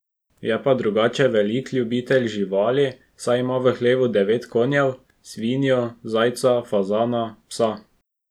Je pa drugače velik ljubitelj živali, saj ima v hlevu devet konjev, svinjo, zajca, fazana, psa.